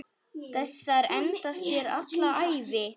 Þessar endast þér alla ævi.